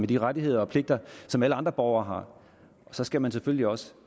de rettigheder og pligter som alle andre borgere har og så skal man selvfølgelig også